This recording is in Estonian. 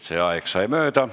See aeg sai mööda.